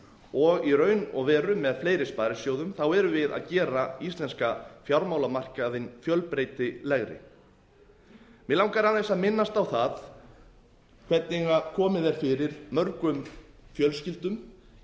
og í raun og veru með fleiri sparisjóðum erum við að gera íslenska fjármálamarkaðinn fjölbreytilegri mig langar aðeins að minnast á það hvernig komið er fyrir mörgum fjölskyldum í